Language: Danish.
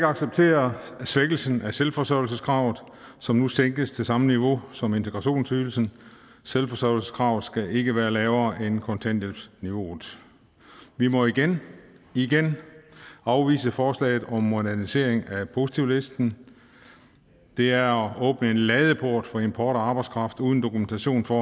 acceptere svækkelsen af selvforsørgelseskravet som nu sænkes til samme niveau som integrationsydelsen selvforsørgelseskravet skal ikke være lavere end kontanthjælpsniveauet vi må igen igen afvise forslaget om modernisering af positivlisten det er at åbne en ladeport for import af arbejdskraft uden dokumentation for